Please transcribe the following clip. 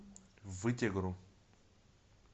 вытегру